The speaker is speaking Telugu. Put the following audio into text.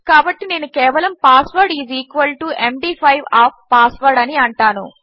కాబట్టి నేను కేవలము password is equal to MD five of password అని అంటాను